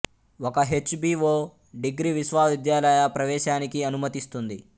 ఒక H B O degree విశ్వవిద్యాలయ ప్రవేశానికి అనుమతిస్తుంది